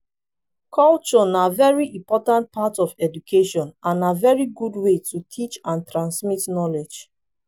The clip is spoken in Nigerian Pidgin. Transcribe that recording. culture na very important part of education and na very good way to teach and transmit knowledge